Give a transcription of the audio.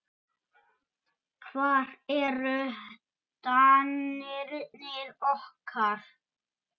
Hvar eru danirnir okkar?